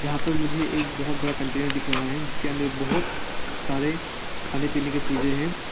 वहां पर मुझे एक बहोत बड़ा कंटेनर दिख रहा है जिसके अंदर बहोत सारे खाने पीने की चीज हैं।